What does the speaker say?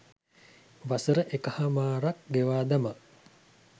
වසර එක හමාරක් ගෙවා දමා